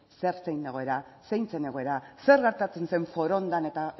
zein zen egoera zein zen egoera zer gertatzen zen forondan eta